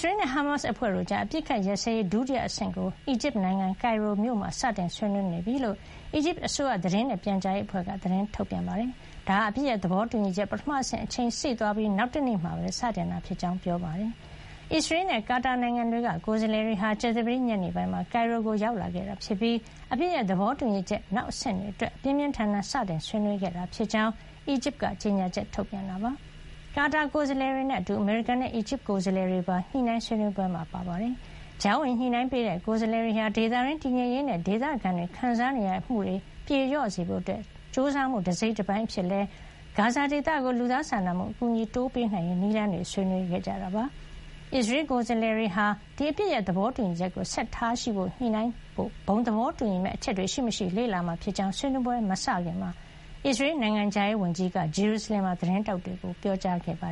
ရေးနဲ့ ဟာမတ်စ် အဖွဲ့တို့ကြား အပစ်အခတ်ရပ်စဲရေး ဒုတိယအဆင့်ကို အီဂျစ်နိုင်ငံ ကိုင်ရိုမြို့မှာ စတင်ဆွေးနွေးနေပြီလို့ အီဂျစ်အစိုးရ သတင်းနဲ့ပြန်ကြားရေးအဖွဲ့က သတင်းထုတ်ပြန်ပါတယ်။ ဒါဟာ အပစ်ရပ်သဘောတူညီချက် ပထမဆင့် အချိန်စေ့သွားပြီး နောက်တနေ့မှာပဲ စတင်ခဲ့တာ ဖြစ်ကြောင်းလည်းပြောပါတယ်။ အစ္စရေးနဲ့ ကာတာနိုင်ငံတွေက ကိုယ်စားလှယ်တွေဟာ ကြာသပတေး ညနေပိုင်းမှာ ကိုင်ရိုကို ရောက်လာခဲ့တာဖြစ်ပြီး အပစ်ရပ် သဘောတူညီချက် နောက်အဆင့်တွေအတွက် ပြင်းပြင်း ထန်ထန် စတင်ဆွေးနွေး ခဲ့ကြတာဖြစ်ကြောင်း အီဂျစ်က ကြေညာချက် ထုတ်ပြန်တာပါ။ ကာတာ ကိုယ်စားလှယ်တွေနဲ့အတူ အမေရိကန်နဲ့ အီဂျစ်က ကိုယ်စားလှယ်တွေပါ ညှိနှိုင်းဆွေးနွေးပွဲမှာ ပါဝင်ခဲ့ပါတယ်။ ကြားဝင်ညှိနှိုင်းပေးတဲ့ ကိုယ်စားလှယ်တွေဟာ ဒေသတွင်း တည်ငြိမ်ရေးနဲ့ ဒေသခံတွေ ခံစားနေရတာတွေ ပြေလျော့စေဖို့ ကြိုးစားမှု တစိတ်တပိုင်းအဖြစ် ဂါဇာဒေသကို လူသားစာနာမှု အကူအညီတွေ တိုးပေးနိုင်ရေး နည်းလမ်းကိုပါ ဆွေးနွေးခဲ့ကြပါတယ်။ အစ္စရေး ကိုယ်စားလှယ်တွေဟာ ဒီအပစ်ရပ်သဘောတူညီချက်ကို ဆက်လက် ထားရှိရေး အတွက် ညှိနှိုင်းဖို့ ဘုံသဘောတူညီမယ့် အချက်တွေ ရှိမရှိ လေ့လာမှာဖြစ်ကြောင်း ဆွေးနွေးပွဲတွေ မစခင်က အစ္စရေး နိုင်ငံခြားရေးဝန်ကြီး Gideon Saar က ဂျေရူဆလင်မှာ သတင်းထောက်တွေကို ပြောကြားခဲ့တာပါ